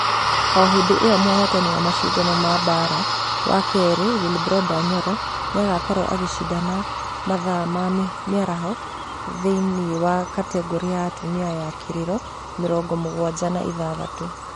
O hĩndĩ iyo mũhotani wa mashidano ma baara ma kerĩ willbroda nyoro nĩagakorwo agĩshidana mathaa ma mĩaraho thĩinĩ wa kategore ya atumia ya kiriro mĩrongo mũgwaja na ithathatũ